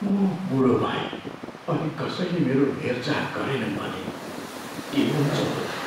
म बुढो भएँ अनि कसैले मेरो हेरचाह गरेनन् भने के हुन्छ होला?